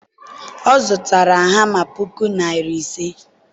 ọ zụtara hama puku naira ise.